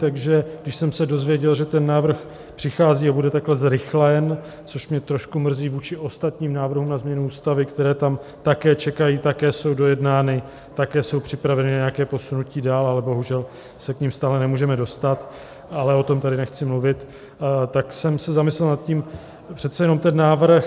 Takže když jsem se dozvěděl, že ten návrh přichází a bude takhle zrychlen - což mě trochu mrzí vůči ostatním návrhům na změnu ústavy, které tam také čekají, také jsou dojednány, také jsou připraveny na nějaké posunutí dál, ale bohužel se k nim stále nemůžeme dostat, ale o tom tady nechci mluvit - tak jsem se zamyslel nad tím: přece jenom ten návrh...